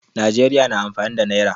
Najeriya na amfani da nayra